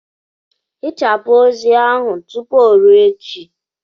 Hichapụ ozi ahụ tụpụ o ruo echi!